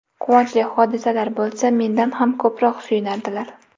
Quvonchli hodisalar bo‘lsa, mendan ham ko‘proq suyunardilar.